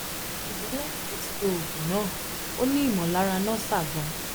ṣùgbọ́n lẹ́yìn tó ti lo oògùn náà ó n ni imolara nausea gan